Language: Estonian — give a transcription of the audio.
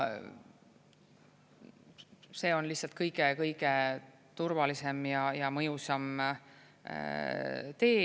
See on lihtsalt kõige-kõige turvalisem ja mõjusam tee.